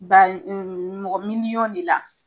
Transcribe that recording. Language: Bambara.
Ba mɔgɔ miliyɔn de la